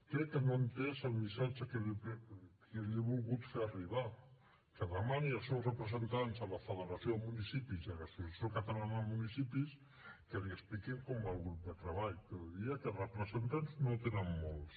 crec que no ha entès el missatge que li he volgut fer arribar que demani als seus representants a la federació de municipis i a l’associació catalana de municipis que li expliquin com va el grup de treball però diria que de representants no en tenen molts